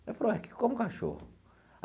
Eu falei é, como cachorro.